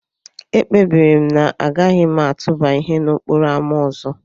Ekpebiri m na agaghị m atụba ihe n'okporo ámá ọzọ.